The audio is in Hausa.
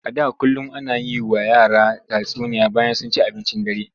A da kullum ana yi wa yara tatsuniya bayan sun ci abincin dare.